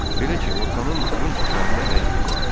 Belə ki, Orxanın burun çəpərində əyrilik vardı.